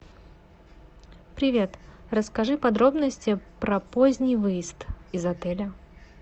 привет расскажи подробности про поздний выезд из отеля